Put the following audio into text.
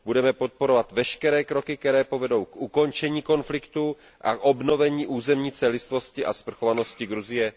Budeme podporovat veškeré kroky, které povedou k ukončení konfliktu a k obnovení územní celistvosti a svrchovanosti Gruzie.